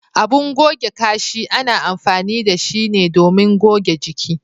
Abin goge Kashi ana amfani da shi ne domin goge jiki.